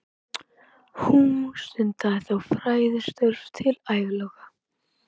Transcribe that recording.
Hún stundaði þó fræðistörf til æviloka.